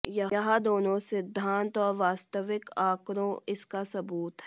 यह दोनों सिद्धांत और वास्तविक आंकड़ों इसका सबूत है